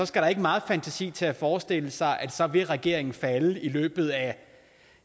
skal der ikke meget fantasi til at forestille sig at så vil regeringen falde i løbet af